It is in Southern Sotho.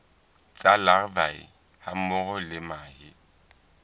tsa larvae hammoho le mahe